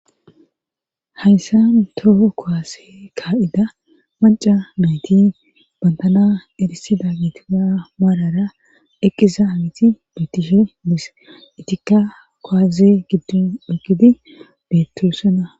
hayssa toho koase ka7ida manca nayti bantana erisida gitisa maarara eqqiza amiti beettishe dis itika kowaze giddin eqidi bettosena